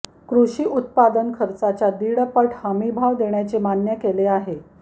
कृषी उत्पादन खर्चाच्या दीडपट हमीभाव देण्याचे मान्य केले आहे